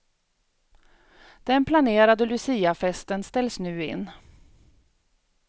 Den planerade luciafesten ställs nu in.